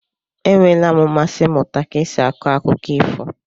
E nweela m mmasị ịmụta ka esi akọ akụkọ ifo.